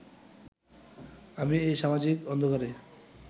আমি এই সামাজিক অন্ধকারে